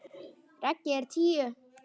Raggi er tíu.